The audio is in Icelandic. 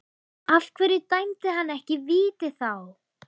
Af hverju dæmdi hann ekki víti þá?